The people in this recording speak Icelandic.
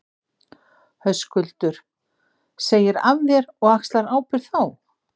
Höskuldur: Segir af þér og axlar ábyrgð þá?